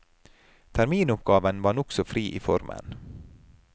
Terminoppgaven var nokså fri i formen.